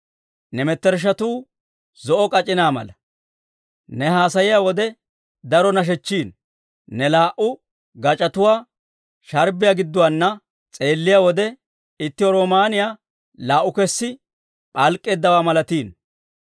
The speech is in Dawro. Ne mettershshatuu zo'o k'ac'inaa mala; ne haasayiyaa wode daro nashechchiino. Ne laa"u gac'otuwaa sharbbiyaa gidduwaana s'eelliyaa wode, itti roomaaniyaa laa"u kessi p'alk'k'eeddawaa malatiino.